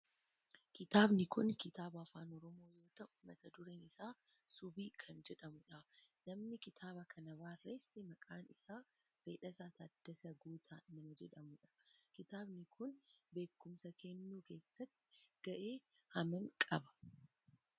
Kitaabni kun kitaaba afaan oromoo yoo ta'u mata dureen isaa subii kan jedhamudha. Namni kitaaba kana barreesse maqaan isaa Fedhaasaa Taaddasaa Guutaa nama jedhamudha. Kitaabni kun beekumsa kennuu keessatti gahee hammamii qaba?